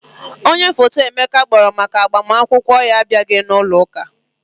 Onye foto Emeka kpọrọ maka agbamakwụkwọ ya abịaghị n'ụloụka.